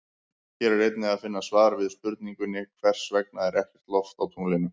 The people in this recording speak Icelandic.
Hér er einnig að finna svar við spurningunni Hvers vegna er ekkert loft á tunglinu?